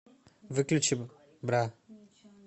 выключи бра